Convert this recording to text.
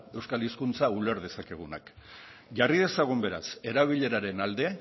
euskal hizkuntza uler dezakegunak jarri dezagun beraz erabileraren alde